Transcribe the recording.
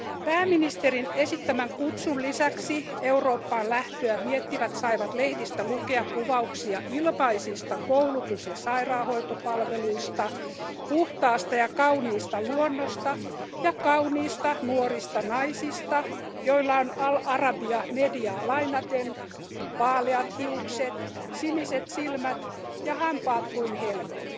Pääministerin esittämän kutsun lisäksi Eurooppaan lähtöä miettivät saivat lehdistä lukea kuvauksia ilmaisista koulutus ja sairaanhoitopalveluista, puhtaasta ja kauniista luonnosta ja kauniista nuorista naisista, joilla on Al Arabia mediaa lainaten vaaleat hiukset, siniset silmät ja hampaat kuin helmet.